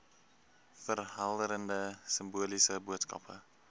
verhelderende simboliese boodskappe